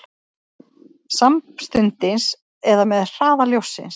Samstundis eða með hraða ljóssins?